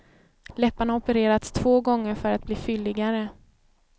Läpparna har opererats två gånger för att bli fylligare.